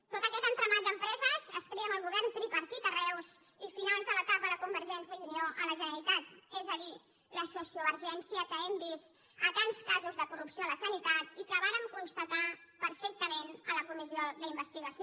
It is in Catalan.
tot aquest entramat d’empreses es crea amb el govern tripartit a reus i finals de l’etapa de convergència i unió a la generalitat és a dir la sociovergència que hem vist a tants casos de corrupció a la sanitat i que vàrem constatar perfectament a la comissió d’investigació